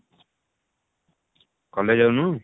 college ଯାଉନୁ?